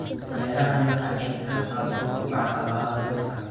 Beerahani waxa ay ka qayb qaataan kobaca dhaqaalaha dalka.